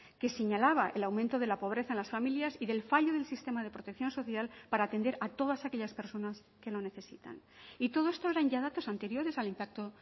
que señalaba el aumento de la pobreza en las familias y del fallo del sistema de protección social para atender a todas aquellas personas que lo necesitan y todo esto eran ya datos anteriores al impacto